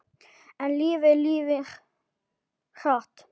En lífið líður hratt.